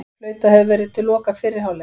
Flautað hefur verið loka fyrri hálfleiks